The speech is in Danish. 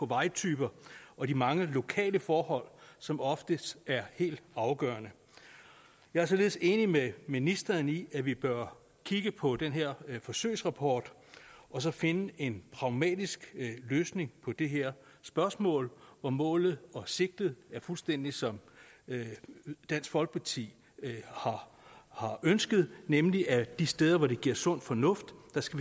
vejtyper og de mange lokale forhold som oftest er helt afgørende jeg er således enig med ministeren i at vi bør kigge på den her forsøgsrapport og så finde en pragmatisk løsning på det her spørgsmål og målet og sigtet er fuldstændig som dansk folkeparti har ønsket det nemlig at vi de steder hvor det giver sund fornuft